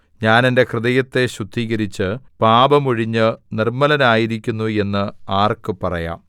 ഞാൻ എന്റെ ഹൃദയത്തെ ശുദ്ധീകരിച്ച് പാപം ഒഴിഞ്ഞ് നിർമ്മലനായിരിക്കുന്നു എന്ന് ആർക്ക് പറയാം